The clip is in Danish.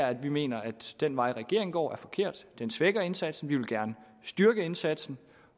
at vi mener at den vej regeringen går er forkert den svækker indsatsen og vi vil gerne styrke indsatsen